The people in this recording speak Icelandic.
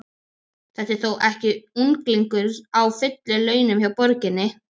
Þetta er þó ekki unglingur á fullum launum hjá borginni?